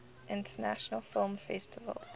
international film festival